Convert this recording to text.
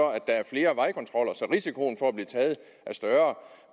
risikoen for at blive taget er større